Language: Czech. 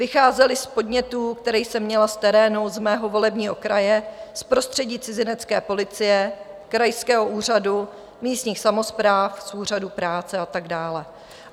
Vycházely z podnětů, které jsem měla z terénu z mého volebního kraje, z prostředí cizinecké policie, krajského úřadu, místních samospráv, z úřadu práce a tak dále.